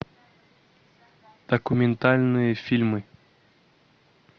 документальные фильмы